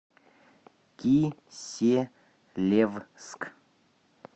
киселевск